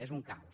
és un caos